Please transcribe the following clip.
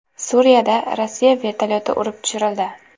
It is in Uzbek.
Suriyada Rossiya vertolyoti urib tushirildi.